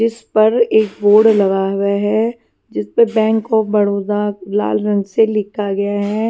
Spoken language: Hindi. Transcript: जिस पर एक बोर्ड लगा हुआ है जिस पर बैंक ऑफ बड़ौदा लाल रंग से लिखा गया है।